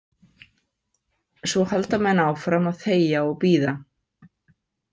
Svo halda menn áfram að þegja og bíða.